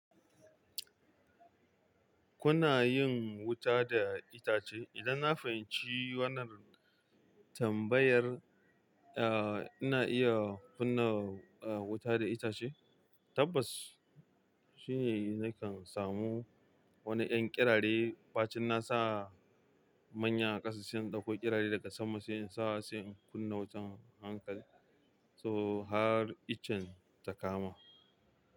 Kuna yin wuta da itace? Idan na fahimci wannan Tam bayar uhm ina iya kunna wuta da itace? Tabbas shine nakan samu wani 'yan kirari. Ɓacin nasa manya ƙasashe dauko kirari daga sama sai in sa sai in kunna wutan hankali. So har iccen ta kama.